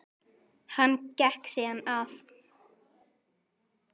Hann gekk síðan að